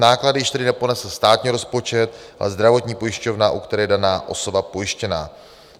Náklady již tedy neponese státní rozpočet, ale zdravotní pojišťovna, u které je daná osoba pojištěna.